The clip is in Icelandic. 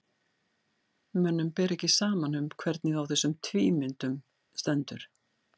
mönnum ber ekki saman um hvernig á þessum tvímyndum stendur